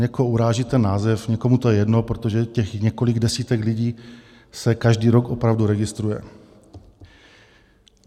Někoho uráží ten název, někomu to je jedno, protože těch několik desítek lidí se každý rok opravdu registruje.